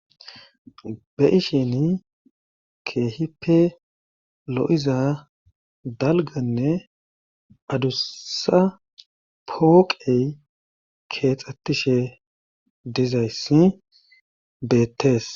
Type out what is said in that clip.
Be'isini keehippe lo'iza dalgganne adussa pooqe keexxetishe dizayssi beetees.